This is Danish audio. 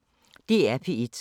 DR P1